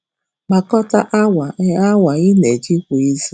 Gbakọta awa ị awa ị na-eji kwa izu